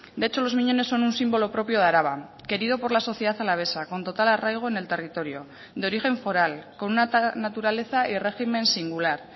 de hecho los miñones son un símbolo propio de araba querido por la sociedad alavesa con total arraigo en el territorio de origen foral con una naturaleza y régimen singular